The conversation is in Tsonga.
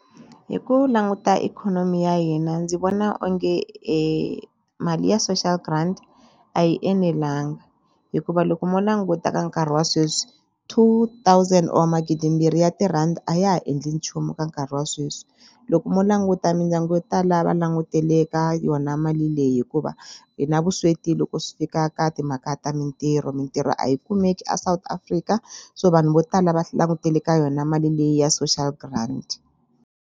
Hi ku languta ikhonomi ya hina ndzi vona onge e mali ya social grant a yi enelangi hikuva loko mo languta ka nkarhi wa sweswi two thousand or magidimbirhi ya tirhandi a ya ha endli nchumu ka nkarhi wa sweswi loko mo languta mindyangu yo tala va langutele ka yona mali leyi hikuva hi na vusweti loko swi fika ka timhaka ta mintirho mintirho a yi kumeki a South Africa so vanhu vo tala va langutele ka yona mali leyi ya social grant.